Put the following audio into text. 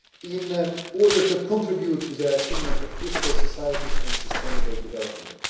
in order to contribute to the achievement of peaceful societies and sustainable development.